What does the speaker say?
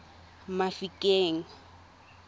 mafikeng